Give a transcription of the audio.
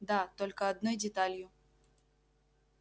да только одной деталью